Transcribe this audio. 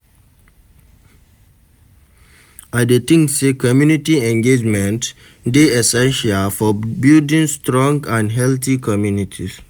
I dey think say community engagement dey essential for building strong and healthy communities.